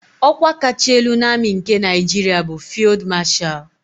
Ọ́kwá kacha elu na amị nke Naịjiria bụ Fịld Mashal.